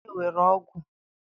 onye were ogwu?